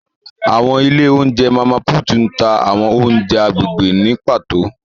Awọn ile ounjẹ Mama Puutu ǹ ta awọn ounjẹ agbegbe ni pato.